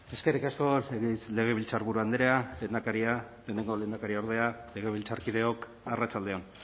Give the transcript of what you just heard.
eskerrik asko legebiltzarburu andrea lehendakaria lehenengo lehendakariordea legebiltzarkideok arratsalde on